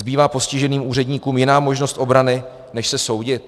Zbývá postižených úředníkům jiná možnost obrany, než se soudit?